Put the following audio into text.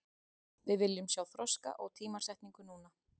Við viljum sjá þroska og tímasetningu núna.